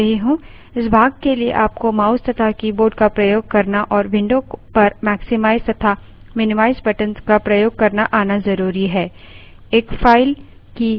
इस भाग के लिए आपको mouse तथा keyboard का प्रयोग करना और window पर maximize तथा minimize buttons का प्रयोग करना आना ज़रुरी है